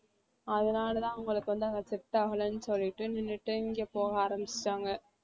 அதனால தான் அவங்களுக்கு வந்து அங்க set ஆகலனு சொல்லிட்டு நின்னுட்டு இங்க போக ஆரம்பிச்சிட்டாங்க